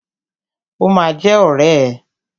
Ó ma jẹ́ ọ̀rẹ́ ẹ̀.